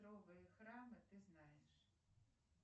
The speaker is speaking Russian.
храмы ты знаешь